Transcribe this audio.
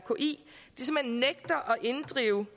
inddrive